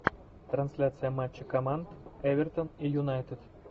трансляция матча команд эвертон и юнайтед